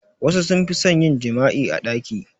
Wassu sun fi son yin jima'i a ɗaki